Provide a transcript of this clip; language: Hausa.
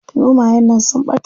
Zomayen nan sun ɓata.